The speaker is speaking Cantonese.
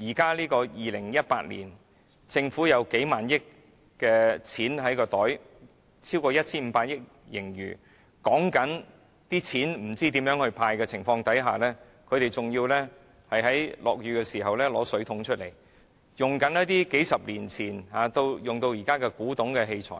現在是2018年，政府有數萬億元在口袋裏，有超過 1,500 億元的盈餘，在討論不知道如何"派錢"的情況下，職員仍要在下雨時拿出水桶來盛水、使用一些沿用數十年至今，已經變成古董的器材，